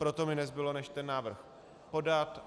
Proto mi nezbylo než ten návrh podat.